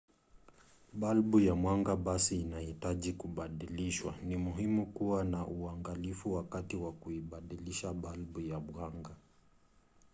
balbu ya mwanga basi inahitaji kubadilishwa. ni muhimu kuwa na uangalifu wakati wa kuibadilisha balbu ya mwanga